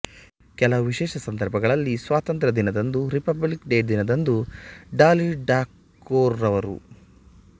ಕೆಲವು ವಿಶೇಷ ಸಂದರ್ಭಗಳಲ್ಲಿ ಸ್ವಾತಂತ್ರ್ಯದಿನ ದಂದು ರಿಪಬ್ಲಿಕ್ ಡೇ ದಿನದಂದುಡಾಲಿಠಾಕೊರ್ ರವರು